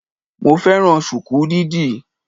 Mo fẹ́ràn sùkú dídì